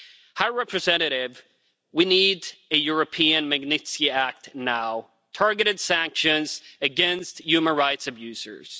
High Representative, we need a European Magnitsky Act now targeted sanctions against human rights abusers.